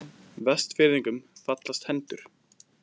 Vestfirðingum fallast hendur